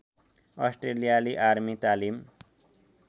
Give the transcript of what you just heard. अस्ट्रेलियाली आर्मी तालिम